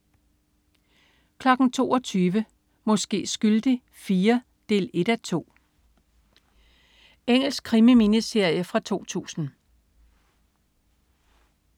22.00 Måske skyldig IV 1:2. Engelsk krimi-miniserie fra 2000